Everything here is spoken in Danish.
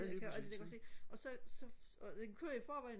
og alt det der ikke også ikke og så så det kører i forvejen